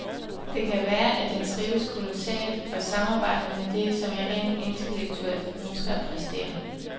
Det kan være at den trives kolossalt og samarbejder med det, som jeg rent intellektuelt ønsker at præstere.